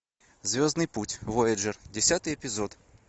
звездный путь вояджер десятый эпизод